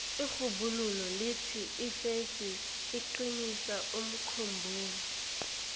irhubhululo lithi ifesi iqinisa umkhumbulo